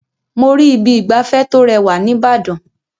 Mo rí Ibi ìgbafẹ́ tó rẹwà ní Ìbàdàn.